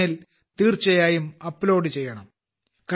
in ൽ തീർച്ചയായും upload ചെയ്യണം